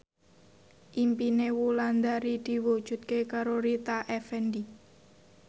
impine Wulandari diwujudke karo Rita Effendy